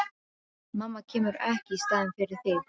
Mamma kemur ekki í staðinn fyrir þig.